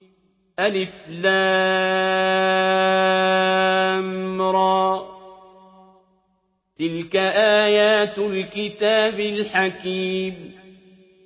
الر ۚ تِلْكَ آيَاتُ الْكِتَابِ الْحَكِيمِ